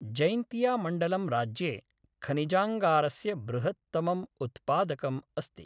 जैन्तियामण्डलं राज्ये खनिजाङ्गारस्य बृहत्तमम् उत्पादकम् अस्ति।